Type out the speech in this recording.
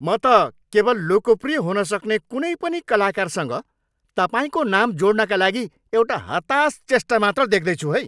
म त केवल लोकप्रिय हुन सक्ने कुनै पनि कलाकारसँग तपाईँको नाम जोड्नका लागि एउटा हतास चेष्टा मात्र देख्दैछु है।